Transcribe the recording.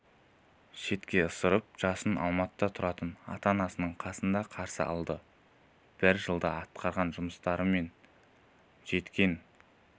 шетке ысырып жасын алматыда тұратын ата-анасының қасында қарсы алды бір жылда атқарған жұмыстар мен жеткен